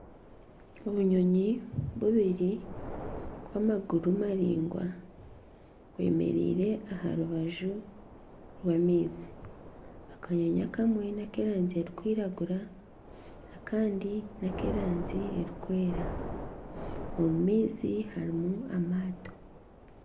Obuyonyi bubiri bw'amaguru maraingwa, bwemereire aha rubaju rw'amaizi, akanyonyi akamwe n'akeerangi erikwiragura akandi n'ak'erangi erikwera omu maizi harimu amaato